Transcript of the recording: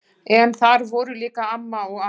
En þar voru líka amma og afi.